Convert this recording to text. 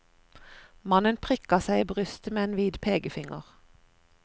Mannen prikket seg i brystet med en hvit pekefinger.